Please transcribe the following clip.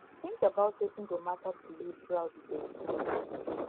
think about wetin go matter to you throughout di day